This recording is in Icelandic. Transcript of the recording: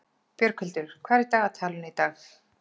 Björghildur, hvað er í dagatalinu í dag?